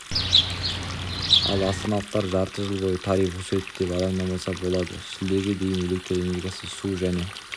ал астаналықтар жарты жыл бойы тариф өседі деп алаңдамаса болады шілдеге дейін электр энергиясы су және